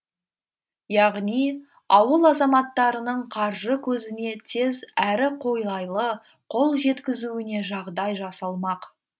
яғни ауыл азаматтарының қаржы көзіне тез әрі қолайлы қол жеткізуіне жағдай жасалмақ